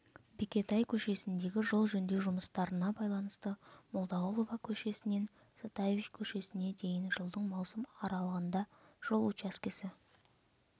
бекетай көшесіндегі жол жөндеу жұмыстарына байланысты молдағұлова көшесінен затаевич көшесіне дейін жылдың маусым аралығында жол учаскесі